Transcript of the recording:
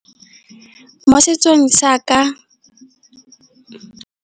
Mo setsong sa ka.